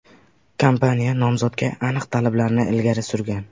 Kompaniya nomzodga aniq talablarni ilgari surgan.